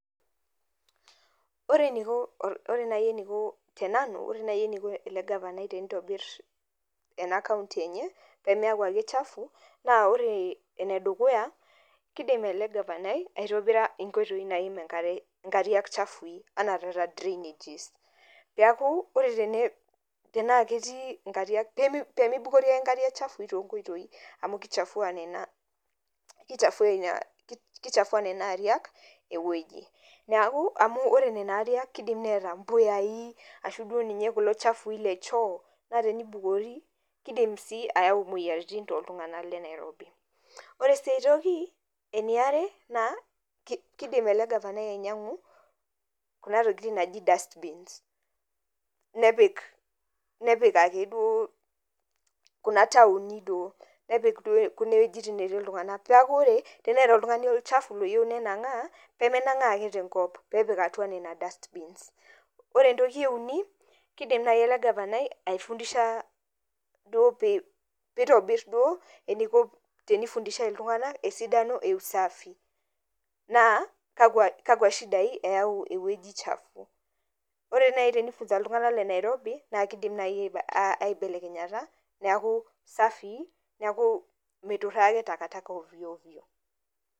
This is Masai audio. Ore eneiko, ore naaji eneiko tenanu, ore naaji eneiko ele gafanai teneitobirr ena county enye, pee miaku ake chafu naa ore enedukuya, keidim ele gafanai aitobira inkoitoi naim inkariak chafui enaa taata drainages piaku, pemeibukori aake inkariak chafui tonkoitoi amuu kechafua nena ariak ewueji. Amuu oore nena ariak keidim neeta impuyai, arashu duo ninye kula chafui le choo, naa teneibukori, keidim sii ayau imueyiaritin toltung'anak le Nairobi. Oore sii ae toki, eniare naa, keidim eele gavanai ainyiang'u kuuna tokitin naaji dustbins nepik, nepik aake duo kuuna taoni duo. Nepik kunen wuejitin netii iltung'anak piaku oore teniata oltung'ani olchafu loyieu nenang'aa, peyie menang'aa aake tenkop, peepik atua nena dustbins. Oore entoki ee uni keidim naaji eele gavanai aifundisha duo peeeitibir duo eneiko teneifundidhai iltung'anak osidano ee usafi. Naa kakwa shidai eyau ewueji chafu. Oore naaji teneifunza iltung'anak le Nairobi, naa keidim naaji aibelenyata, niaku safii niaku meituraa aake takataka ovyo ovyo.